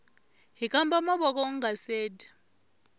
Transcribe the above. hkamba mavoko ungase dya